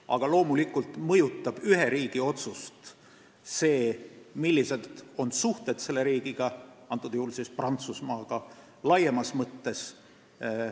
Aga loomulikult mõjutab ühe riigi otsus seda, millised on tema suhted teise riigiga, antud juhul Prantsusmaaga laiemas mõttes.